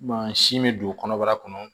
Masin bɛ don kɔnɔbara kɔnɔ